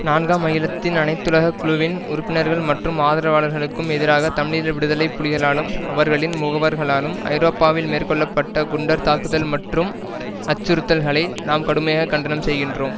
நான்காம் அகிலத்தின் அனைத்துலக குழுவின் உறுப்பினர்கள் மற்றும் ஆதரவாளர்களுக்கும் எதிராக தமிழீழ விடுதலை புலிகளாலும் அவர்களின் முகவர்களாலும் ஐரோப்பாவில் மேற்கொள்ள பட்ட குண்டர் தாக்குதல் மற்றும் அச்சுறுத்தல்களை நாம் கடுமையாக கண்டனம் செய்கின்றோம்